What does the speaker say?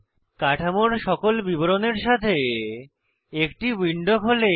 কাঠামোর সকল বিবরণের সাথে একটি উইন্ডো খোলে